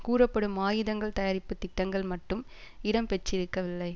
கூறப்படும் ஆயுதங்கள் தயாரிப்பு திட்டங்கள் மட்டும் இடம்பெற்றிருக்கவில்லை